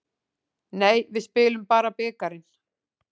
Nei, við spilum bara bikarinn.